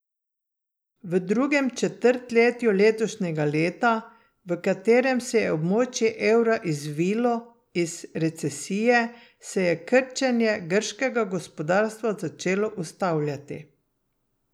V drugem četrtletju letošnjega leta, v katerem se je območje evra izvilo iz recesije, se je krčenje grškega gospodarstva začelo ustavljati.